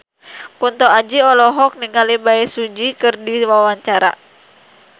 Kunto Aji olohok ningali Bae Su Ji keur diwawancara